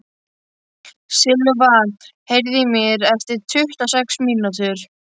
Silva, heyrðu í mér eftir tuttugu og sex mínútur.